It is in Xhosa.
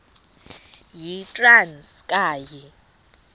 yitranskayi